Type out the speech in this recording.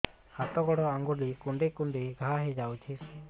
ହାତ ଗୋଡ଼ ଆଂଗୁଳି କୁଂଡେଇ କୁଂଡେଇ ଘାଆ ହୋଇଯାଉଛି